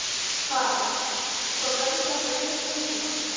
Karen: En hvað verður þetta mikið núna?